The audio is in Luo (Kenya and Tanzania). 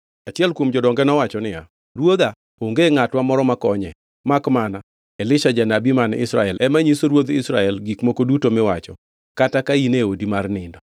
Achiel kuom jodonge nowacho niya, “Ruodha onge ngʼatwa moro makonye, makmana Elisha janabi man Israel ema nyiso ruodh Israel gik moko duto miwacho kata ka in e odi mar nindo.”